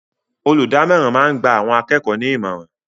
Olùdámọ̀ràn máa ń gba àwọn akẹ́kọ̀ọ́ ní ìmọ̀ràn